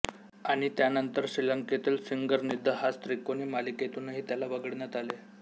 आणि त्यानंतर श्रीलंकेतील सिंगर निदहास त्रिकोणी मालिकेतूनही त्याला वगळण्यात आले